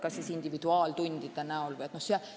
Kas äkki individuaaltundide näol?